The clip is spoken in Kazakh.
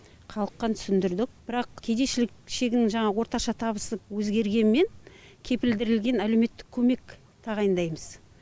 халыққа түсіндіріліп бірақ кедейшілік шегінің жаңа орташа табысы өзгергенімен кепілдірілген әлеуметтік көмек тағайындаймыз